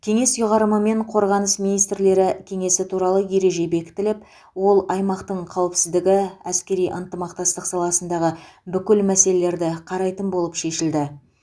кеңес ұйғарымымен қорғаныс министрлері кеңесі туралы ереже бекітіліп ол аймақтың қауіпсіздігі әскери ынтымақтастық саласындағы бүкіл мәселелерді қарайтын болып шешілді